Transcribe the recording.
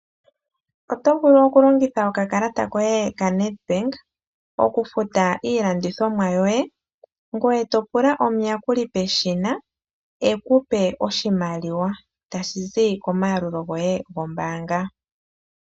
Oto vulu okulongitha okakalata koye kaNedbank okufuta iilandithomwa yoye. Ngoye topula omuyakuli peshina ekupe oshimaliwa tashi zi komaalulo goye gombaanga.